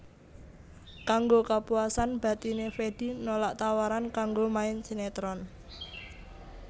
Kanggo kapuasan batiné Fedi nolak tawaran kanggo main sinetron